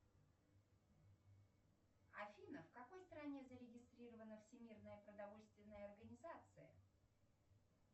афина в какой стране зарегистрирована всемирная продовольственная организация